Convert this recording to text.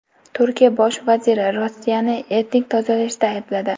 Turkiya bosh vaziri Rossiyani etnik tozalashda aybladi.